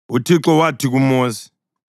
UThixo wathi kuMosi,